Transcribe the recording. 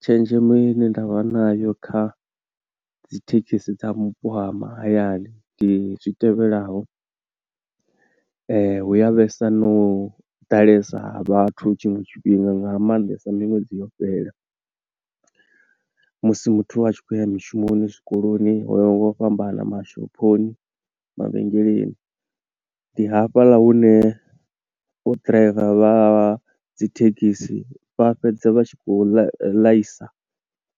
Tshenzhemo ine nda vha nayo kha dzi thekhisi dza mupo ha mahayani ndi zwi tevhelaho, hu ya vhesa no ḓalesa ha vhathu tshiṅwe tshifhinga nga maanḓesa miṅwedzi yo fhela, musi muthu a tshi khou ya mushumoni, zwikoloni ho yaho nga u fhambana mashophoni, mavhengeleni. Ndi hafhaḽa hune vho driver vha dzi thekhisi vha fhedza vha tshi khou ḽaisa